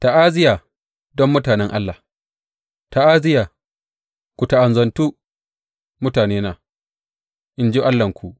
Ta’aziyya don mutanen Allah Ta’aziyya, ku ta’azantu mutanena, in ji Allahnku.